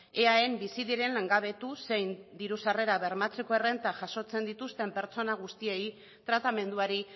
eaen bizi diren langabetu zein diru sarrerak bermatzeko errenta jasotzen dituzten pertsona guztiei tratamenduari